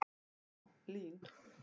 Já, LÍN.